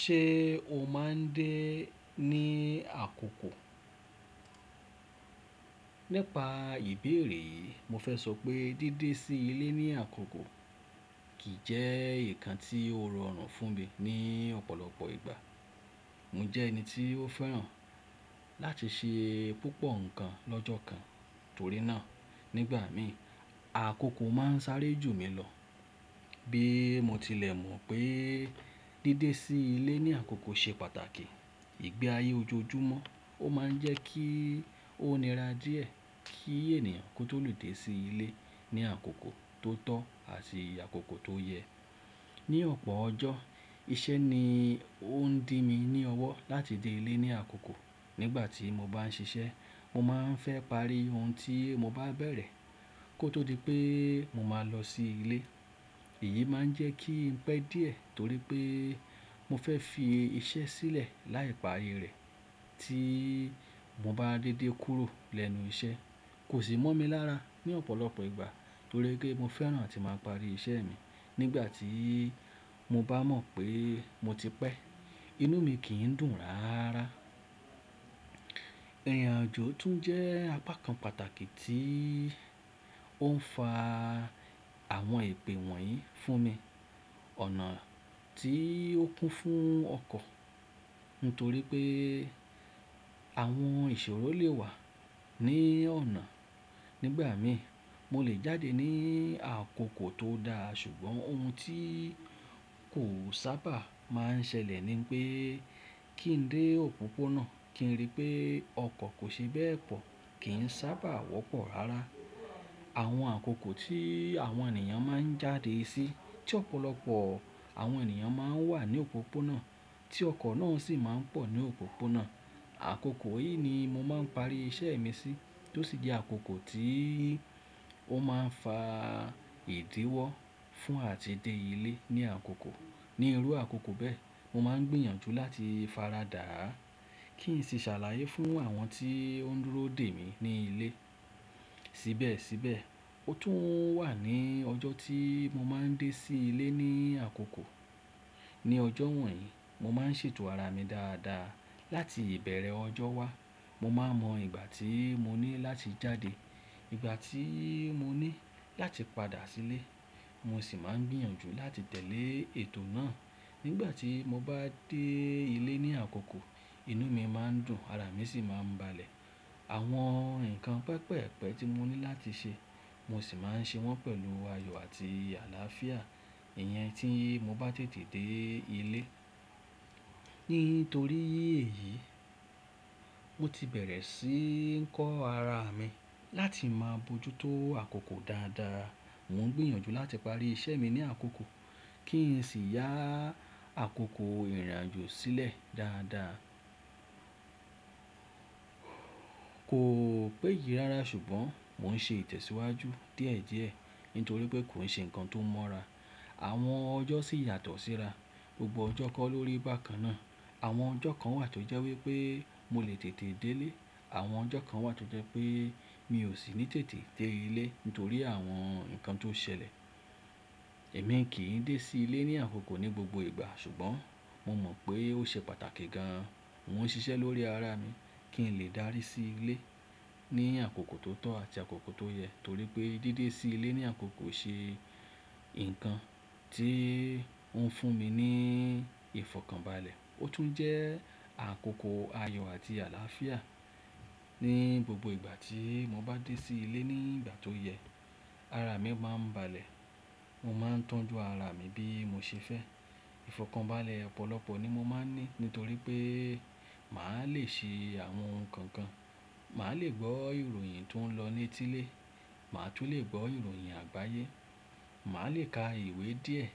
Ṣé o máa ń dé ní àkókò? Nípa ìbéèrè yìí, mo fẹ́ sọ pé dédé sí ilé ní àkókò kì í jẹ́ ǹkan tí ó rọrùn fún mi ní ọ̀pọ̀lọpọ̀ ìgbà. Mo jẹ́ ẹni tí ó fẹ́ràn láti ṣe púpọ̀ ǹkan lọ́jọ́ kan, torí náà nígbà mi, àkókò máa ń sáré jù mí lọ. Bí mo tilẹ̀ mọ̀ pé dédé sí ilé ní àkókò ṣe pàtàkì, ìgbé ayé ojoojúmọ́ ó máa ń jẹ́ kí ó nira díẹ̀ kí ènìyàn kó tó lù dé sí ilé ní àkókò tó tọ́ àti àkókò tó yẹ. Ni ọ̀pọ̀ ọjọ́, iṣẹ́ ni ó ń dí mi ní ọwọ́ láti dé ilé ní àkókò. Nígbà tí mo bá ń ṣiṣẹ́, mo máa ń fẹ́ parí ohun tí mo bá bẹ̀rẹ̀ kó tó di pé mo máa lọ sí ilé. Èyí máa ń jẹ́ kí n pẹ́ díẹ̀ torí pé mo fẹ́ fi iṣẹ́ sílẹ̀ láì parí rẹ̀. Tí mo bá dédé kúrò lẹ́nu iṣẹ́, kò sì mọ́ mi lára ní ọ̀pọ̀lọpọ̀ ìgbà torí pé mo fẹ́ràn láti máa parí iṣẹ́ mi. Nígbà tí mo bá mọ̀ pé mo ti pẹ́, inú mi kì í dùn rárá. Ìrìnàjò tún jẹ́ apá kan pàtàkì tí ó ń fa àwọn èpè wọ̀nyí fún mi. Ọ̀nà tí ó kún fún ọkọ̀ nítorí pé àwọn ìṣòro lè wà ní ọ̀nà. Nígbà mi, mo lè jáde ní àkókò tó da ṣùgbọ́n ohun tí kò sábà máa ń ṣẹlẹ̀ ni pé kí n dé òpópónà kí n rí pé ọkọ̀ kò ṣe bẹ́ẹ̀ pọ̀ kì í sábà wọ́pọ̀ rárá. Àwọn àkókò tí àwọn ènìyàn máa ń jáde sí tí ọ̀pọ̀lọpọ̀ àwọn ènìyàn máa ń wà ní òpópónà tí ọkọ̀ náà sì máa ń pọ̀ ní òpópónà. Àkókò yìí ni mo máa ń parí iṣẹ́ mi sí tó sì jẹ́ àkókò tí ó máa ń fa ìdíwọ́ fún àti dé ilé ní àkókò. Ni irú àkókò bẹ́ẹ̀, mo máa ń gbìyànjú láti faradà, kí n sì ṣàlàyé fún àwọn tí ó ń dúró dè mí ní ilé. Síbẹ̀síbẹ̀, ó tún wà ní ọjọ́ tí mo máa ń dé sí ilé ní àkókò. Ni ọjọ́ wọ̀nyí, mo máa ń ṣètò ara mi dáadáa láti ìbẹ̀rẹ̀ ọjọ́ wá. Mo máa mọ ìgbà tí mo ní láti jáde, ìgbà tí mo ní láti padà sílé, mo sì máa ń gbìyànjú láti tẹ̀lé ètò náà. Nígbà tí mo bá dé ilé ní àkókò, inú mi máa ń dùn ara mi sì máa ń balẹ̀. Àwọn ǹkan pẹpẹ̀pẹ̀ tí mo ní láti ṣe, mo sì máa ń ṣe wọ́n pẹ̀lú ayọ̀ àti àlàáfíà. Ìyẹn tí mo bá tètè dé ilé. Nítorí èyí, mo ti bẹ̀rẹ̀ sí ń kọ́ ara mi láti máa bojútó àkókò dáadáa. Mo ń gbìyànjú láti parí iṣẹ́ mi ní àkókò kí n sì ya àkókò ìrìnàjò sílẹ̀ dáadáa. Kò péyi rárá ṣùgbọ́n mò ń ṣe ìtẹ̀síwájú díẹ̀díẹ̀ nítorí pé kò ṣe ǹkan tó mọ́ra. Àwọn ọjọ́ sì yàtọ̀ síra. Gbogbo ọjọ́ kọ́ lórí bà kan náà. Àwọn ọjọ́ kan wà tó jẹ́ wípé mo lè tètè dé ilé, àwọn ọjọ́ kan wà tó jẹ́ pé mi ò sì ní tètè dé ilé nítorí àwọn ǹkan tó ṣẹlẹ̀. Èmi kì í dé sí ilé ní àkókò ní gbogbo ìgbà ṣùgbọ́n mo mọ̀ pé ó ṣe pàtàkì gan-an. Mo ń ṣiṣẹ́ lórí ara mi kí n lè dárí sí ilé ní àkókò tó tọ́ àti àkókò tó yẹ torí pé dédé sí ilé ní àkókò ṣe ǹkan tí ó ń fún mi ní ìfọ̀kànbalẹ̀. Ó tún jẹ́ àkókò ayọ̀ àti àlàáfíà. Ni gbogbo ìgbà tí mo bá dé sí ilé ní ìgbà tó yẹ, ara mi máa ń balẹ̀, mo máa ń tọ́jú ara mi bí mo ṣe fẹ́. Ìfọ̀kànbalẹ̀ ọ̀pọ̀lọpọ̀ ni mo máa ń ní nítorí pé màá le ṣe àwọn nǹkan kan. Màá le gbọ́ ìròyìn tó ń lọ ní etile, màá tún le gbọ́ ìròyìn àgbáyé, màá le ka ìwé díẹ̀